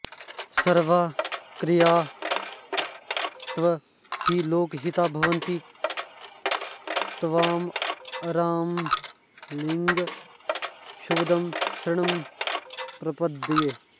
सर्वाःक्रियास्तव हि लोकहिता भवन्ति त्वांरामलिङ्ग शुभदं शरणं प्रपद्ये